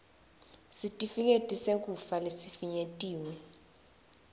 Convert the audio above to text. sitifiketi sekufa lesifinyetiwe